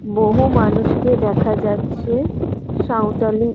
বহু মানুষকে দেখা যাচ্ছে সাঁওতালি--